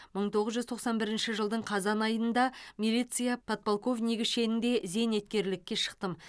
мың тоғыз жүз тоқсан бірінші жылдың қазан айында милиция подполковнигі шенінде зейнеткерлікке шықтым